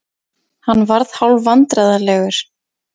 Hann varð hálfvandræðalegur.